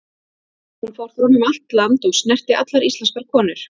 Hún fór fram um allt land, og snerti allar íslenskar konur.